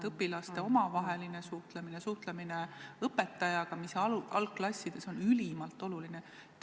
Õpilaste omavaheline suhtlemine ja suhtlemine õpetajaga on algklassides ülimalt olulised.